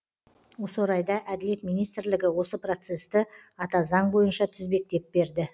осы орайда әділет министрлігі осы процесті ата заң бойынша тізбектеп берді